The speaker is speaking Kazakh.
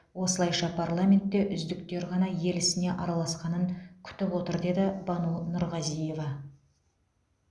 осылайша парламентте үздіктер ғана ел ісіне араласқанын күтіп отыр деді бану нұрғазиева